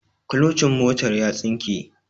kulocin motar ya tsinke